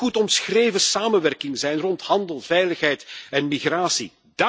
Dat kan een goed omschreven samenwerking zijn rond handel, veiligheid en migratie.